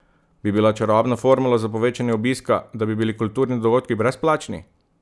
Bi bila čarobna formula za povečanje obiska, da bi bili kulturni dogodki brezplačni?